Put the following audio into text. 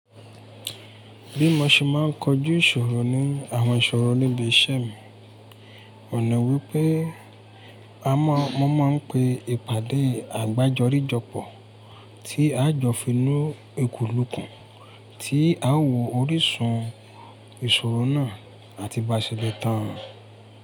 Bí mo ṣe máa ń kọjú ìṣòro ní àwọn ìṣòro níbí iṣẹ́ mi, òun ni wípé a máa, mo máa ń pe ìpàdé àgbájọrí jọpọ̀ tí a jọ fi inú eku ìlùkùn, tí a ó wo orísun ìṣòro náà àti bá ṣele tán.